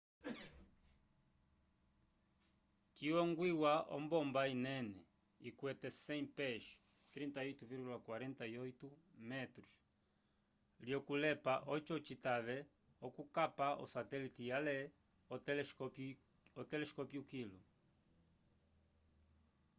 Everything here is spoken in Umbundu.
ciyongwiwa ombomba inene ikwete 100 pés 38,48m lyokulepa oco citave okukapa osatelite ale otelescopio kilu